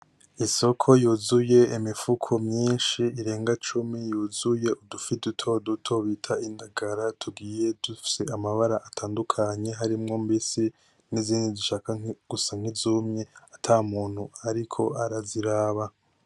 Isoko yuzuye imifuko myinshi irenga cumi, yuzuye udufi duto duto bita indagara, tugiye dufise amabara atandukanye harimwo mbisi n'izindi zishaka gusa nk'izumye ata muntu ariko araziraba.